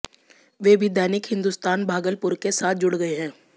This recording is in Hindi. वे भी दैनिक हिंदुस्तान भागलपुर के साथ जुड़ गए हैं